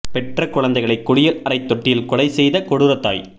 பெற்ற குழந்தைகளை குளியல் அறை தொட்டியில் கொலை செய்த கொடூர தாய்